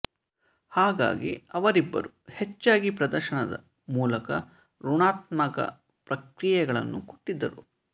ಹಾಗಾಗಿ ಅವರಿಬ್ಬರೂ ಹೆಚ್ಚಾಗಿ ಪ್ರದರ್ಶನದ ಮೂಲಕ ಋಣಾತ್ಮಕ ಪ್ರತಿಕ್ರಿಯೆಗಳನ್ನು ಕೊಟ್ಟಿದ್ದರು